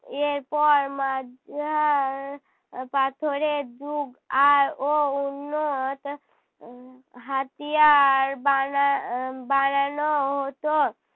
এরপর এর পর মাঝার পাথরের যুগ আর ও উন্নত হাতিয়ার বানা আহ বানানো হতো